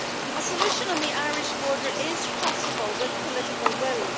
A solution on the Irish border is possible with political will.